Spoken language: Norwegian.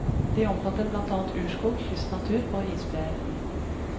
De omfatter blant annet urskog, kystnatur og isbreer.